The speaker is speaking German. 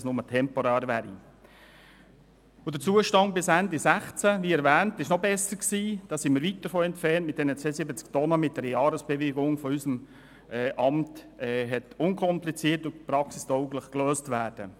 Der Zustand war, wie erwähnt, bis Ende 2016 noch besser gelöst, und Fahrten konnten mit einer Bewilligung für ein Betriebsgewicht von 72 Tonnen mit einer Jahresbewilligung unseres Amts unkompliziert und praxistauglich gelöst werden.